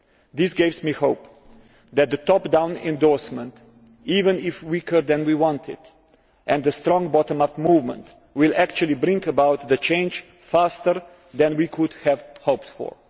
This gives me hope that the top down endorsement, even if weaker than we wanted, and the strong bottom up movement, will actually bring about change faster than we could have hoped for.